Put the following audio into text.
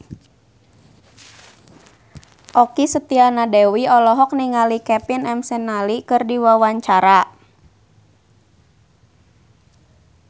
Okky Setiana Dewi olohok ningali Kevin McNally keur diwawancara